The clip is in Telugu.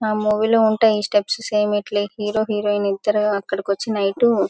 ఆ మూవీ లో ఉంటాయి ఇ స్టెప్స్ సమె ఇట్లే హీరో హెరాయిన్ ఇద్దరు అక్కడకొచ్చి నైటు --